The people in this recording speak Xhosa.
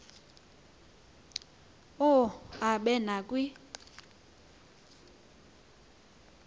u aabe nakwi